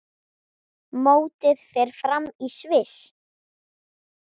Mótið fer fram í Sviss.